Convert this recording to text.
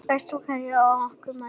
Bestu kveðjur frá okkur Marie.